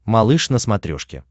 малыш на смотрешке